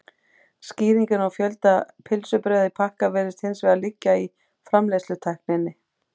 skýringin á fjölda pylsubrauða í pakka virðist hins vegar liggja í framleiðslutækninni